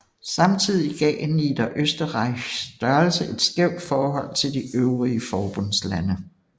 Samtidig gav Niederösterreichs størrelse et skævt forhold til de øvrige forbundslande